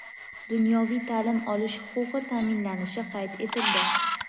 dunyoviy ta’lim olish huquqi ta’minlanishi qayd etildi.